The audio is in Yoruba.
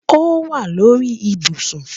Ọ wà lórí ìbùṣún